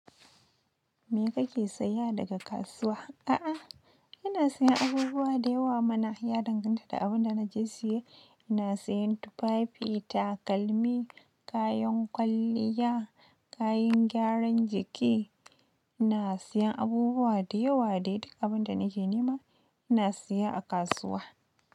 Me kake saya daga kasuwa? A'a, ina sayan abubuwa da yawa mana. Ya danganta da abin da na je siye. Ina sayan tufafi, takalmi, kayan kwalliya, kayan gyaran jiki. Ina sayan abubuwa da yawa dai duk abin da nake nema ina siya a kasuwa.